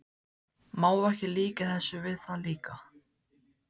Má ekki líkja þessu við það líka?